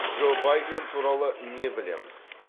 джо байден туралы не білеміз